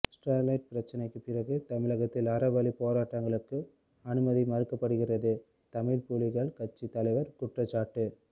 Sterlite பிரச்சினைக்கு பிறகு தமிழகத்தில் அறவழி போராட்டங்களுக்கு அனுமதி மறுக்கப்படுகிறது தமிழ் புலிகள் கட்சி தலைவர் குற்றச்சாட்டு